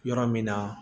Yɔrɔ min na